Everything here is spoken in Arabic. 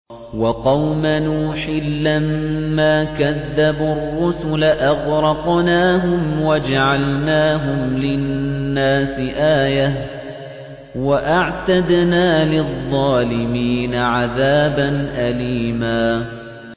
وَقَوْمَ نُوحٍ لَّمَّا كَذَّبُوا الرُّسُلَ أَغْرَقْنَاهُمْ وَجَعَلْنَاهُمْ لِلنَّاسِ آيَةً ۖ وَأَعْتَدْنَا لِلظَّالِمِينَ عَذَابًا أَلِيمًا